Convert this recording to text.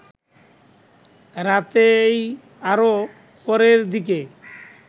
রাতেই আরও পরের দিকে